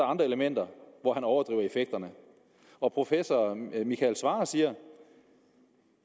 andre elementer hvor han overdriver effekterne og professor michael svarer siger